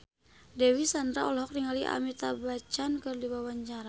Dewi Sandra olohok ningali Amitabh Bachchan keur diwawancara